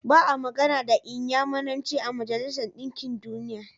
Ba a magana da Inyamuranci a Majalisar Ɗinkin Duniya.